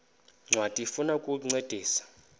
ncwadi ifuna ukukuncedisa